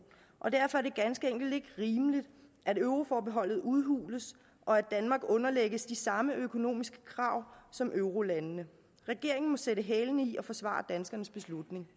og derfor er det ganske enkelt ikke rimeligt at euroforbeholdet udhules og at danmark underlægges de samme økonomiske krav som eurolandene regeringen må sætte hælene i og forsvare danskernes beslutning